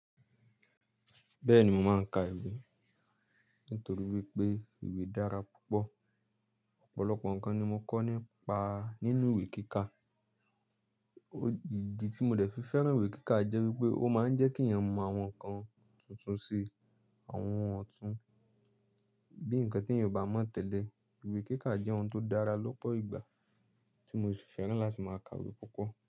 Bẹ́ẹ̀ni mo máa ń ka ìwé nítorí wípé ìwé dára púpọ̀. Ọ̀pọ̀lọpọ̀ nǹkan ni mo kọ́ nípa nínú ìwé kíkà. Ójìji tí mo dẹ̀ fi fẹ́ràn ìwé kíkà jẹ́ wípé ó máa ń jẹ́ kí èèyàn mọ àwọn nǹkan tuntun sí àwọn ọ̀tún. Bí nǹkan tí èèyàn ò bá mọ̀ tẹ́lẹ̀, ìwé kíkà jẹ́ ohun tó dára lọ́pọ̀ ìgbà tí mo ṣe fẹ́ràn láti máa ka ìwé púpọ̀